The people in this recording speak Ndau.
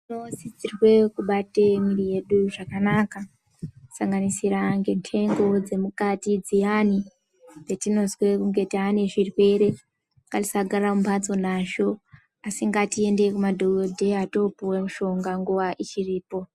Tinosisirwe kubate mwiri yedu zvakanaka kusanganisira kendengo dzemukati dziyani petinozwe kunge tane zvirwere. Ngatisagara mumbatso nazvo asi ngatiende kumadhokodheya topuwe mushonga nguwa ichipo.